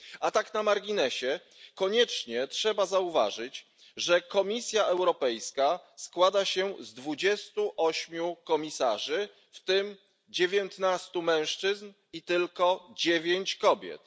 Tak na marginesie koniecznie trzeba zauważyć, że Komisja Europejska składa się z dwudziestu ośmiu komisarzy, w tym dziewiętnastu mężczyzn i tylko dziewięciu kobiet.